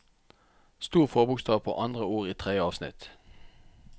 Stor forbokstav på andre ord i tredje avsnitt